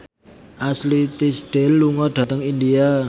Ashley Tisdale lunga dhateng India